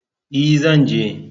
E, zan je.